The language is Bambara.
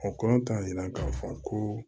O kɔrɔ t'a yira k'a fɔ ko